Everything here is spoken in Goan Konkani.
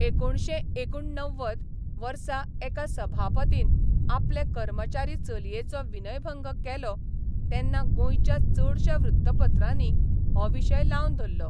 एकुणशे एकुणणव्वद वर्सा एका सभापतीन आपले कर्मचारी चलयेचो विनयभंग केलो तेन्ना गोंयच्या चडश्या वृत्तपत्रांनी हो विशय लावन धरलो.